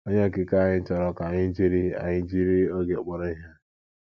Onye Okike anyị chọrọ ka anyị jiri anyị jiri oge kpọrọ ihe.